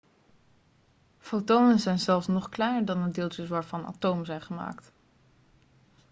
fotonen zijn zelfs nog kleiner dan de deeltjes waarvan atomen zijn gemaakt